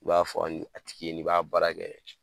I b'a fɔ a tigi ye n'i b'a baara kɛ